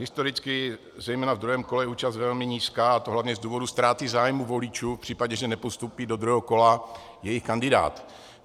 Historicky zejména ve druhém kole je účast velmi nízká, a to hlavně z důvodu ztráty zájmu voličů v případě, že nepostoupí do druhého kola jejich kandidát.